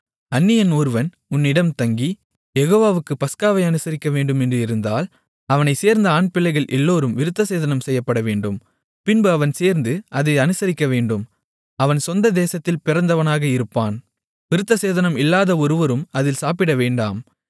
அந்நியன் ஒருவன் உன்னிடம் தங்கி யெகோவாவுக்குப் பஸ்காவை அனுசரிக்கவேண்டுமென்று இருந்தால் அவனைச் சேர்ந்த ஆண்பிள்ளைகள் எல்லோரும் விருத்தசேதனம் செய்யப்படவேண்டும் பின்பு அவன் சேர்ந்து அதை அனுசரிக்கவேண்டும் அவன் சொந்த தேசத்தில் பிறந்தவனாக இருப்பான் விருத்தசேதனம் இல்லாத ஒருவரும் அதில் சாப்பிடவேண்டாம்